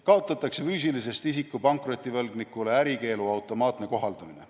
Kaotatakse füüsilisest isikust pankrotivõlgnikule ärikeelu automaatne kohaldamine.